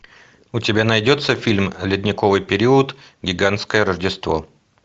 у тебя найдется фильм ледниковый период гигантское рождество